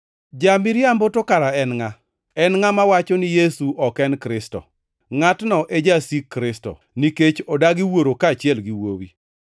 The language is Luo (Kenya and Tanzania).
Ja-miriambo to kara en ngʼa? En ngʼama wacho ni Yesu ok en Kristo. Ngʼatno e Jasik Kristo, nikech odagi Wuoro kaachiel gi Wuowi.